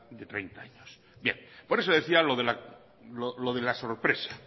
de treinta años bien por eso decía lo de la sorpresa